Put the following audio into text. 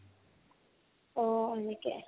অ, এনেকে